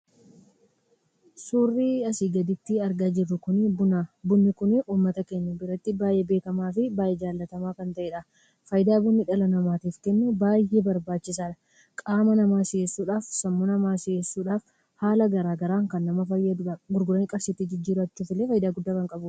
Suurri asi gaditti argaa jirru kun buna. bunni kun uummata keenya biratti baay'ee beekamaa fi baay'ee jaallatama kan ta'edha. faayida bunni dhala namaatiif kennu baay'ee barbaachisadha. qaama nama si'eessuudhaf, sammuu namaa si'eessuudhaf, haala garaagaraan kan nama fayyadudha. gurgurani qarshiitti jijjirachuuf illee faayida guddaa kan qabudha.